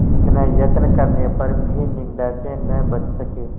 इतना यत्न करने पर भी निंदा से न बच सके